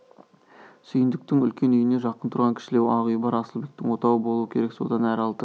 сүйіндіктің үлкен үйіне жақын тұрған кішілеу ақ үй бар асылбектің отауы болу керек содан әрі алты